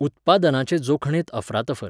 उत्पादनाचे जोखणेंत अफरातफर